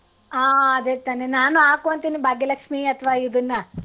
ಹಾ ಅದೇ ತಾನೇ ನಾನು ಹಾಕು ಅಂತೀನಿ ಭಾಗ್ಯ ಲಕ್ಷೀ ಅಥವಾ ಇದನ್ನ.